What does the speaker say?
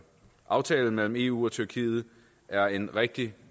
aftalen mellem eu og tyrkiet er en rigtig